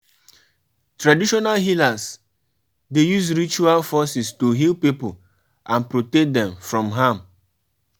Try take pictures or videos of wetin you experience for your holiday